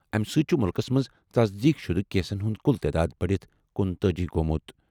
اَمہِ سۭتۍ چھُ مُلکَس منٛز تصدیٖق شُدٕ کیسَن ہُنٛد کُل تعداد بَڑِتھ کُنتأجی گوٚمُت۔